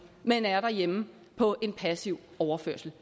men er derhjemme på en passiv overførsel